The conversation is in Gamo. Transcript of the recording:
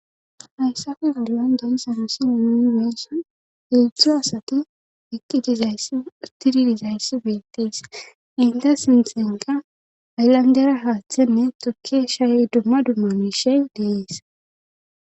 hayssappe oduyan deysa misiweessa ildzxzu asati utidizayss bettees inte sinthenka ayllandera haaththenne tukki shay dumma dummanishey deeesa